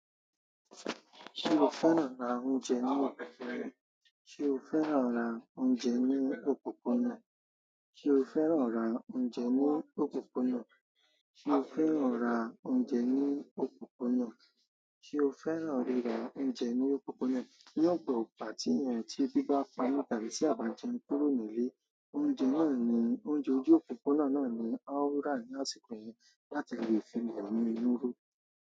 Ṣé o fẹ́ràn àwọn oúnjẹ náà se o fẹ́ràn ra oúnjẹ ní òpópónà? Ṣé o fẹ́ràn rà oúnjẹ ní òpópónà? Ṣé o fẹ́ràn rà oúnjẹ ní òpópónà? Ṣé o fẹ́ràn ríra oúnjẹ ní òpópónà? Ní ọgbà tí ènìyàn tí ebi bá pami tàbí tí àabá jẹun kúrò ní ilé. Oúnjẹ náà ní oúnjẹ ojú òpópónà náà ni a ó rà ní àsìkò yẹn láti lè fi èmi inú ró.